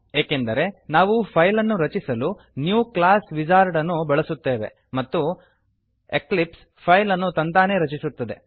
ಏಕೆಂದರೆ ನಾವು ಫೈಲ್ ಅನ್ನು ರಚಿಸಲು ನ್ಯೂ ಕ್ಲಾಸ್ ವಿಜಾರ್ಡ್ ಅನ್ನು ಬಳಸುತ್ತೇವೆ ಮತ್ತು ಎಕ್ಲಿಪ್ಸ್ ಫೈಲ್ ಅನ್ನು ತಂತಾನೇ ರಚಿಸುತ್ತದೆ